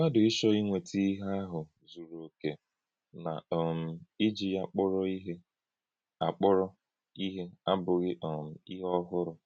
Mmádụ̀ ịchọ́ ínwètá íhè àhụ́ zuru òkè na um iji yá akpọ̀rọ̀ íhè akpọ̀rọ̀ íhè abụ̀ghị um íhè òhụ̀rụ̀.